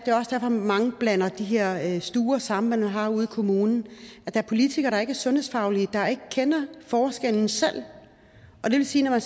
er også derfor mange blander de her stuer sammen man har ude i kommunen der er politikere der ikke er sundhedsfaglige der ikke kender forskellen selv og det vil sige at når